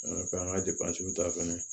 An ka k'an ka ta fɛnɛ